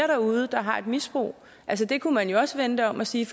derude der har et misbrug det kunne man jo også vende det om og sige